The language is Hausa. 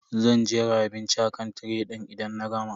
Zan jera abinci akan tiray din idan na gama.